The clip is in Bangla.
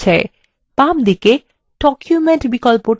hyperlink dialog box প্রদর্শিত হচ্ছে